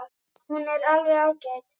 Hún er alveg ágæt.